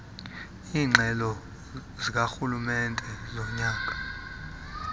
iingxelo zikarhulumente zonyaka